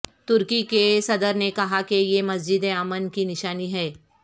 ترکی کے صدر نے کہا کہ یہ مسجد امن کی نشانی ہے